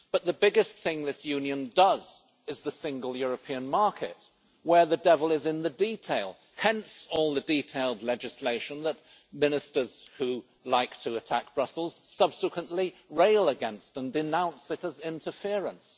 But the biggest thing this union does is the single European market, where the devil is in the detail, hence all the detailed legislation that Ministers who like to attack Brussels subsequently rail against and denounce as interference.